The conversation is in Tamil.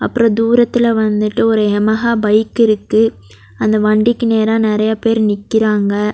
அப்ரோ தூரத்துல வந்துட்டு ஒரு யமஹா பைக் இருக்கு அந்த வண்டிக்கு நேரா நெறைய பேர் நிக்கிறாங்க.